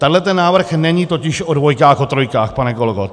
Tenhle ten návrh není totiž o dvojkách, o trojkách, pane kolego.